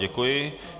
Děkuji.